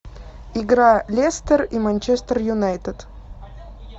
игра лестер и манчестер юнайтед